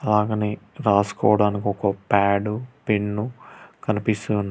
అలాగనే రాసుకోవడానికి ఒక ప్యాడు పెన్ను కనిపిస్తున్న--